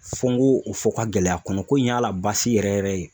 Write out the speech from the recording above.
Fo n k'o o fɔ ka gɛlɛy'a kɔnɔ ko in y'a la basi yɛrɛ yɛrɛ ye